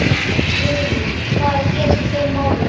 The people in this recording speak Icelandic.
Guðný: Hvað er að gerast í þeim málum?